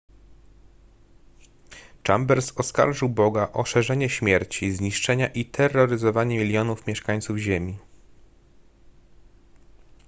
chambers oskarżył boga o szerzenie śmierci zniszczenia i terroryzowanie milionów mieszkańców ziemi